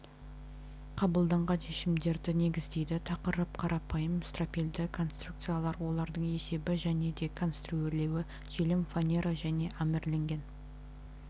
қабылданған шешімдерді негіздейді тақырып қарапайым стропильді конструкциялар олардың есебі және де конструирлеуі желім фанера және армирленген